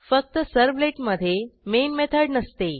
फक्त सर्व्हलेट मधे main method नसते